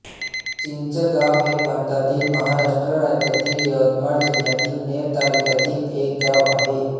चिंचगाव हे भारतातील महाराष्ट्र राज्यातील यवतमाळ जिल्ह्यातील नेर तालुक्यातील एक गाव आहे